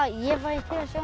ég væri